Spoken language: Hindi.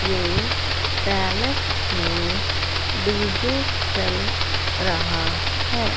ये पैलेस में डी_जे चल रहा है।